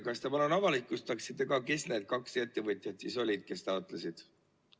Kas te palun avalikustaksite, kes need kaks ettevõtjat siis olid, kes taotlesid?